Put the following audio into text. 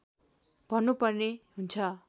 भन्नुपर्ने हुन्छ